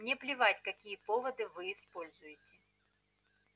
мне плевать какие поводы вы используете